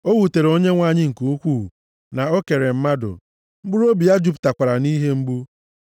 O wutere Onyenwe anyị nke ukwuu na o kere mmadụ, mkpụrụobi ya jupụtakwara nʼihe mgbu.